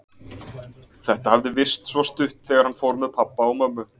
Þetta hafði virst svo stutt þegar hann fór með pabba og mömmu.